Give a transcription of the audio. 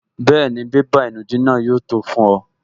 Bẹ́ẹ̀ni, bébà ìnùdí náà yóò tó fún ọ